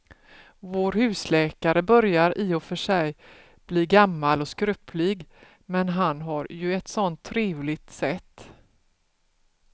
Vår husläkare börjar i och för sig bli gammal och skröplig, men han har ju ett sådant trevligt sätt!